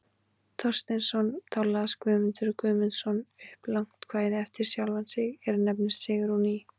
Thorsteinsson, þá las Guðmundur Guðmundsson upp langt kvæði eftir sjálfan sig, er nefnist Sigrún í